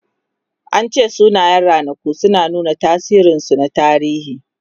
An ce sunayen ranaku suna nuna tasirinsu na tarihi.